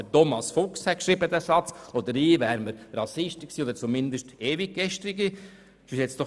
Wenn Thomas Fuchs diesen Satz geschrieben hätte oder ich, wären wir als Rassisten oder zumindest als Ewiggestrige bezeichnet worden.